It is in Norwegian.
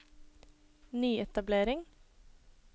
nyetablering